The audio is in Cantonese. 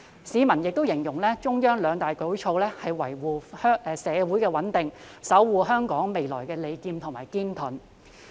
市民更形容中央的兩大舉措，是維護社會穩定、守護香港未來的"利劍"和"堅盾"。